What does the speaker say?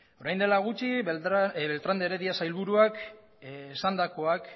orain dela gutxi beltrán de heredia sailburuak esandakoak